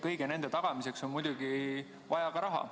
Kõigi nende tagamiseks on muidugi vaja ka raha.